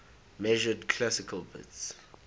measured classical bits